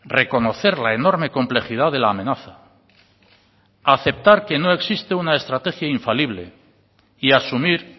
reconocer la enorme complejidad de la amenaza aceptar que no existe una estrategia infalible y asumir